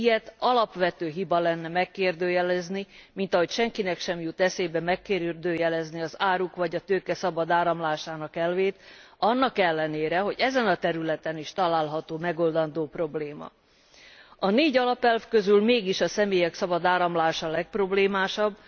Mint ilyet, alapvető hiba lenne megkérdőjelezni, mint ahogy senkinek sem jut eszébe megkérdőjelezni az áruk vagy a tőke szabad áramlásának elvét, annak ellenére, hogy ezen a területen is található megoldandó probléma. A négy alapelv közül mégis a személyek szabad áramlása a legproblémásabb.